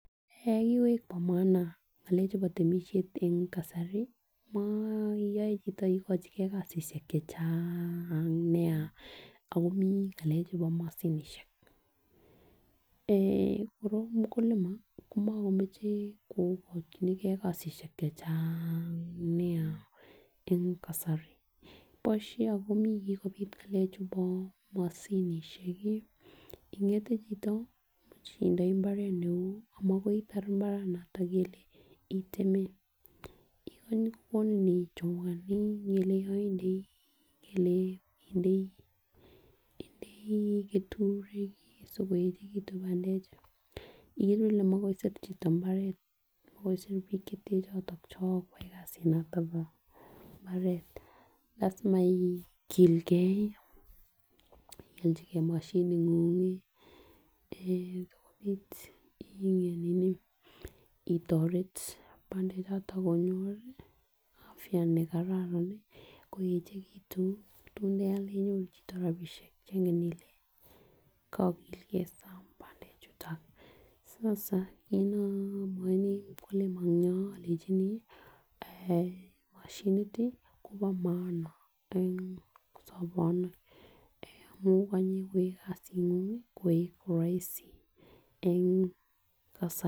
Eh kikoik bo maana ngalek chuu bo temishet en kasari yoe chito ikochigee kasishek chechang nia Ako mii ngalek chuu bo moshinishek eeh kora mukulima komokemoche koyai kasishek chechang nia boishet ako mii kokopit ngalek chubo moshinishek kii ingete chito imuch itindoi imbaret neu makoi itar imbaranoton kele oteme yon kokikoni ichoma nii ngele ideii indei keturek sikoyechemitun pandek ikere kole makoi kochobe chito imbaret koboishen bik choton chon koyai kasit noton bo imbaret lasima igilgee ioljigee moshinit ngun eeh sikopit itoret pandek choto konyor afya nekararan koyechekitun tun kealde inyoru chito rabishek Chengen ile koklge saam pandek chuton sasa kit kimwaoini mukulima nenyon ilenjini moshinit tii Kobo maana en sobini akonyokoyoe kasingung koik roisi en kasari.